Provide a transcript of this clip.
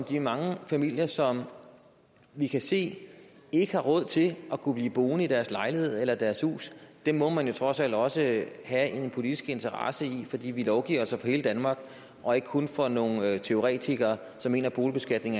de mange familier som vi kan se ikke har råd til at kunne blive boende i deres lejlighed eller deres hus dem må man jo trods alt også have en politisk interesse i fordi vi lovgiver altså for hele danmark og ikke kun for nogle teoretikere som mener at boligbeskatning